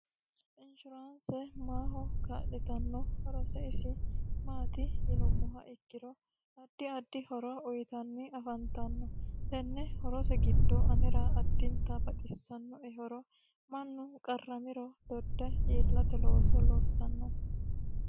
Inshuraanse maaho kaa'litanni horose isi maati yinumoha ikkiro addi addi horo uyiitanni afantanno tenne horose giddo anera addintanni baxisannoe horo Mannu qarramiro dodde iillate looso loossano.